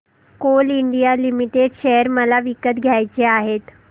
Coal India limited share मला विकत घ्यायचे आहेत